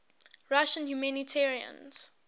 russian humanitarians